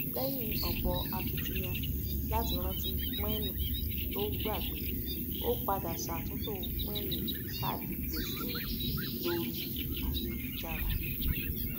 lẹyìn ọpọ akitiyan láti rántí píínì to ógbàgbé ó padà ṣàtúntò píínì káàdì gbèsè rẹ lórí ayélujára